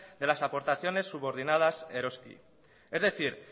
de las aportaciones subordinadas eroski es decir